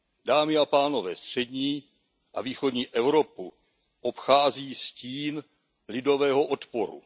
Dámy a pánové, střední a východní Evropu obchází stín lidového odporu.